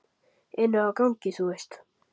Inni á gangi, þú veist.